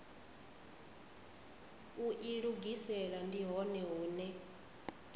u ilugisela ndi hone hune